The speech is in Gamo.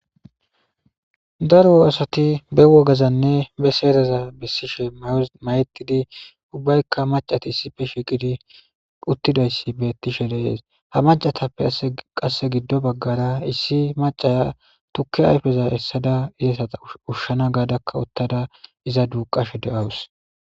Daro asati be wogazanne be seereza bessishe mayetidi ubbaykka macati issife shiiqidi uttidayssi beettishe leees ha macatappe a qasse giddo baggara issi macaya tukki ayfeza essada izasata ushshana gaadakka uttada iza duuqashe de7awus.